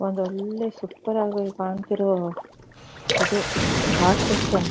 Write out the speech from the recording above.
ಒಂದು ಒಳ್ಳೆ ಸೂಪರ್ ಆಗಿ ಕಾಣ್ತಿರೋ ಇದು ಘಾಟ್ ಸೆಕ್ಷನ್ .